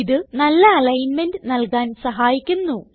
ഇത് നല്ല അലിഗ്ന്മെന്റ് നല്കാൻ സഹായിക്കുന്നു